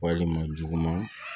Walima juguman